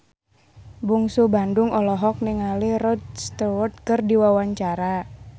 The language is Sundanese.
Bungsu Bandung olohok ningali Rod Stewart keur diwawancara